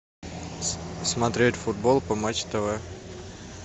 смотреть футбол по матч тв